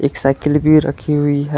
Cycle भी रखी हुई है।